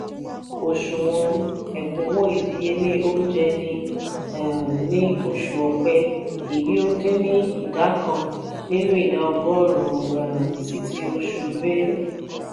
òṣùwọn ekunwo ìdíyelé oúnjẹ ní um ní oṣù ọpẹ èyí ó dín ni ìdá kan nínú ìdá ọgọrun um sí ti oṣù belu.